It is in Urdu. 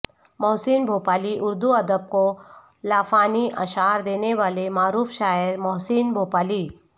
محسن بھوپالی اردو ادب کو لافانی اشعار دینے والے معروف شاعر محسن بھوپالی